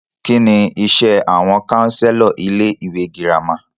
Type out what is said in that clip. Kínní iṣé àwọn counselor ilé ìwé gírámà?